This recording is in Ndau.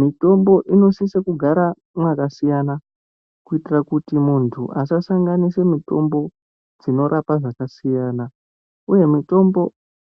Mutombo inosise kugara mwakasiyana kuitire kuti muntu asasanganise mutombo dzinorapa zvakasiyana uye mutombo